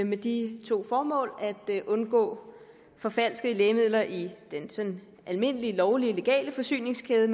med de to formål at undgå forfalskede lægemidler i den sådan almindelige lovlige legale forsyningskæde